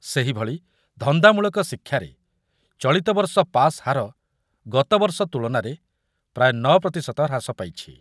ସେହିଭଳି ଧନ୍ଦାମୂଳକ ଶିକ୍ଷାରେ ଚଳିତବର୍ଷ ପାସ୍ ହାର ଚଳିତବର୍ଷ ତୁଳନାରେ ପ୍ରାୟ ନ ପ୍ରତିଶତ ହ୍ରାସ ପାଇଛି ।